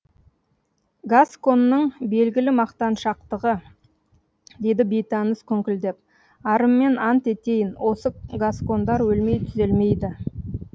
гасконның белгілі мақтаншақтығы деді бейтаныс күңкілдеп арыммен ант етейін осы гаскондар өлмей түзелмейді